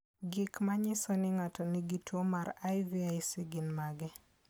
Gik manyiso ni ng'ato nigi tuwo mar IVIC gin mage?